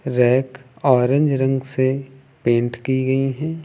Rack orange रंग से paint की गई हैं।